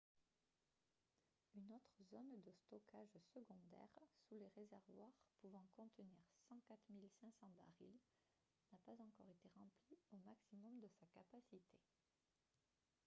une autre zone de stockage secondaire sous les réservoirs pouvant contenir 104 500 barils n’a pas encore été remplie au maximum de sa capacité